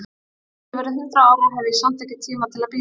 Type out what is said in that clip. En þótt ég verði hundrað ára, hef ég samt ekki tíma til að bíða.